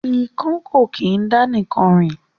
Ikán kò kín dá nìkan rìn